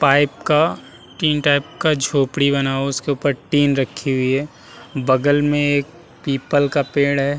Pipe का tin type का झोपड़ी बना हुआ है। उसके ऊपर टीन रखी हुयी है। बगल में एक पीपल का एक पेड़ है।